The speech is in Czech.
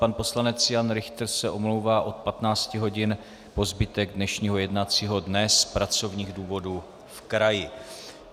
Pan poslanec Jan Richter se omlouvá od 15 hodin po zbytek dnešního jednacího dne z pracovních důvodů v kraji.